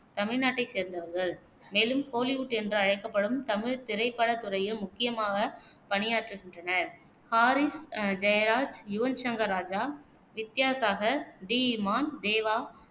தமிழ்நாட்டைச் சேர்ந்தவர்கள், மேலும் கோலிவுட் என்று அழைக்கப்படும் தமிழ்த் திரைப்படத் துறையில் முக்கியமாக பணியாற்றுகின்றனர் ஹாரிஸ் ஜெயராஜ், யுவன் ஷங்கர் ராஜா, வித்யாசாகர், டி. இம்மான், தேவா,